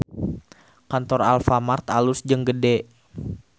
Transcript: Kantor Alfamart alus jeung gede